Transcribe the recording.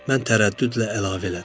Mən tərəddüdlə əlavə elədim.